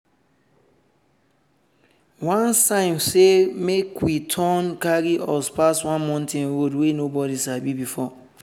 one sign say make we turn carry us pass one mountain road wey nobody sabi before.